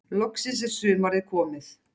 Loksins er sumarið komið.